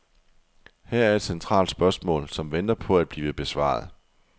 Her er et centralt spørgsmål, som venter på at blive besvaret.